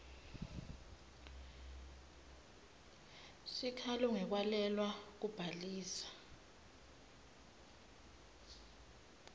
sikhalo ngekwalelwa kubhaliswa